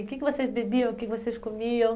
O que que vocês bebiam, o que vocês comiam?